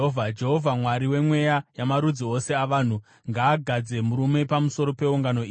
“Jehovha, Mwari wemweya yamarudzi ose avanhu, ngaagadze murume pamusoro peungano iyi